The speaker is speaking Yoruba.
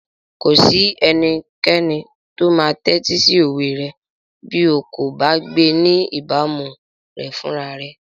Kò sí ẹnikẹ́ni tó máa tẹ́tí sí òwe rẹ bí o kò bá gbé ní ìbámu rẹ̀ fúnra rẹ.